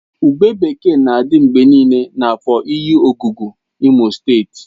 Ube bekee na-adị mgbe niile na afor enyiogugu imo steeti